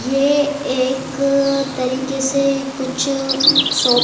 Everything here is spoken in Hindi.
ये एक तरिके से कुछ शॉप --